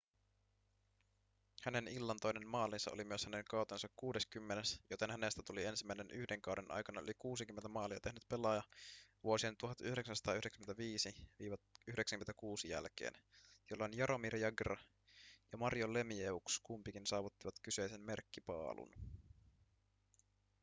hänen illan toinen maalinsa oli myös hänen kautensa kuudeskymmenes joten hänestä tuli ensimmäinen yhden kauden aikana yli 60 maalia tehnyt pelaaja vuosien 1995-96 jälkeen jolloin jaromir jagr ja mario lemieux kumpikin saavuttivat kyseisen merkkipaalun